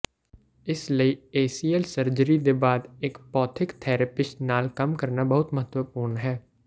ਇਸ ਲਈ ACL surgery ਦੇ ਬਾਅਦ ਇੱਕ ਭੌਤਿਕ ਥੈਰੇਪਿਸਟ ਨਾਲ ਕੰਮ ਕਰਨਾ ਬਹੁਤ ਮਹੱਤਵਪੂਰਨ ਹੈ